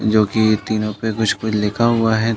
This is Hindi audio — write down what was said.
जो कि तीनो पे कुछ-कुछ लिखा हुआ है।